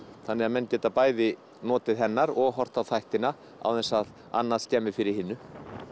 þannig að menn geta bæði notið hennar og horft á þættina án þess að annað skemmi fyrir hinu